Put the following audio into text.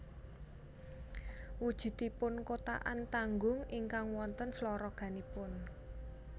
Wujudipun kothakan tanggung ingkang wonten sloroganipun